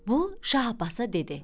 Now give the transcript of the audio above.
Bu Şah Abbasa dedi: